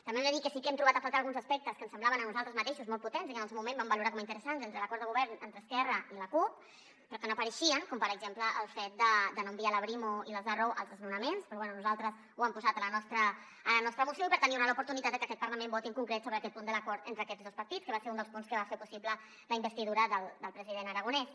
també hem de dir que sí que hem trobat a faltar alguns aspectes que ens semblaven a nosaltres mateixos molt potents i que en el seu moment vam valorar com a interessants entre l’acord de govern entre esquerra i la cup però que no apareixien com per exemple el fet de no enviar la brimo i les arro als desnonaments però bé nosaltres ho hem posat a la nostra moció i per tant hi haurà l’oportunitat de que aquest parlament voti en concret sobre aquest punt de l’acord entre aquests dos partits que va ser un dels punts que va fer possible la investidura del president aragonès